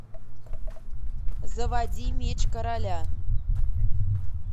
заводи меч короля